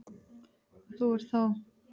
Þú ert þá?